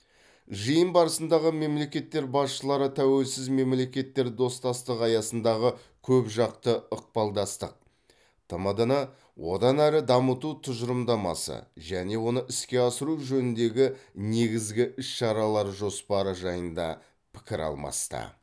жиын барысында мемлекеттер басшылары тәуелсіз мемлекеттер достастығы аясындағы көпжақты ықпалдастық тмд ны одан әрі дамыту тұжырымдамасы және оны іске асыру жөніндегі негізгі іс шаралар жоспары жайында пікір алмасты